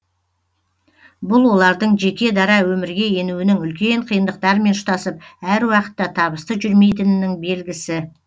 бұл олардың жеке дара өмірге енуінің үлкен қиындықтармен ұштасып әр уақытта табысты жүрмейтінінің белгісі